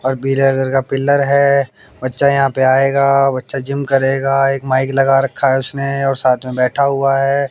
और पीले कलर का पिलर है बच्चा यहां पे आएगा बच्चा जिम करेगा एक माइक लगा रखा है उसने और साथ में बैठा हुआ है।